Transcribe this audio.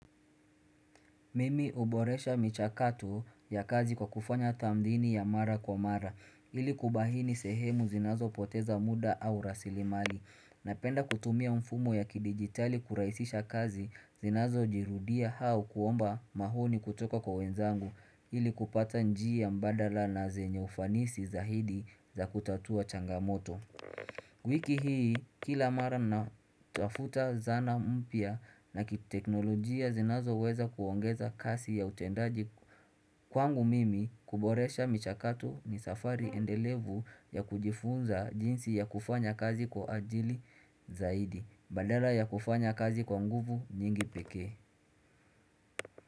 Mimi huboresha michakato ya kazi kwa kufanya tamthini ya mara kwa mara ili kubaini sehemu zinazopoteza muda au rasilimali napenda kutumia mfumo ya kidigitali kurahisisha kazi zinazojirudia au kuomba maoni kutoka kwa wenzangu ili kupata njia mbadala na zenye ufanisi zaidi za kutatua changamoto wiki hii kila mara na tafuta zana mpya na kiteknolojia zinazoweza kuongeza kasi ya utendaji kwangu mimi kuboresha michakato ni safari endelevu ya kujifunza jinsi ya kufanya kazi kwa ajili zaidi badala ya kufanya kazi kwa nguvu nyingi peke.